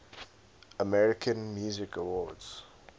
american music awards